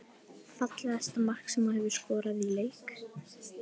Fallegasta mark sem þú hefur skorað í leik?